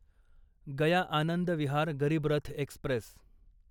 Gaya Anand Vihar Garib Rath Express